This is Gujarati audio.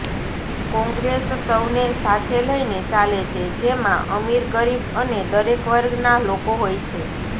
કોંગ્રેસ સૌને સાથે લઇને ચાલે છે જેમાં અમીર ગરીબ અને દરેક વર્ગના લોકો હોય છે